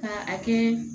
Ka a kɛ